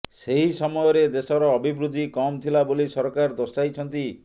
ସେହି ସମୟରେ ଦେଶର ଅଭିବୃଦ୍ଧି କମ୍ ଥିଲା ବୋଲି ସରକାର ଦର୍ଶାଇଛନ୍ତି